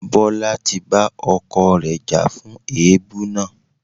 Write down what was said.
Bola ti bá ọkọ rẹ̀ jà fún èébú náà.